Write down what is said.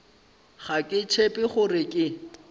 ga ke tshepe gore ke